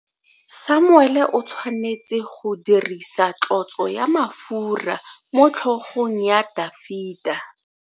Samuele o tshwanetse go dirisa tlotso ya mafura motlhogong ya Dafita.